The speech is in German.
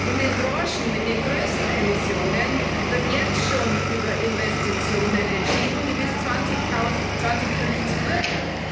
In den Branchen mit den größten Emissionen wird jetzt schon über Investitionen entschieden, die bis 2050 wirken.